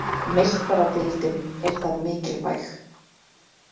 Meistaradeildin er það mikilvæg